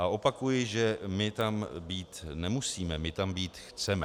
A opakuji, že my tam být nemusíme, my tam být chceme.